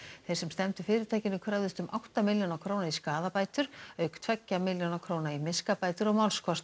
þeir sem stefndu fyrirtækinu kröfðust um átta milljóna króna í skaðabætur auk tveggja milljóna króna í miskabætur og málskostnað